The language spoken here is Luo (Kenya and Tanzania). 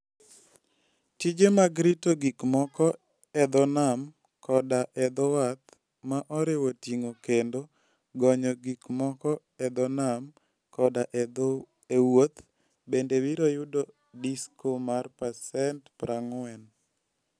Tije mag rito gik moko e dho nam koda e dho wath, ma oriwo ting'o kendo gonyo gik moko e dho nam koda e wuoth, bende biro yudo disko mar pasent 40.